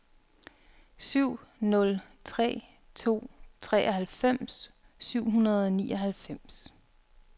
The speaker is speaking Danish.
syv nul tre to treoghalvfems syv hundrede og nioghalvfems